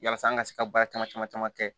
Yasa an ka se ka baara caman caman caman kɛ